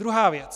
Druhá věc.